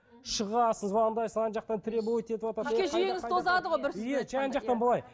шығасың звондайсың ана жақтан требовать етіватады иә жан жақтан былай